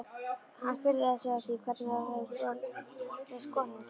Hann furðaði sig á því hvernig það hefði borist konungi.